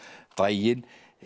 daginn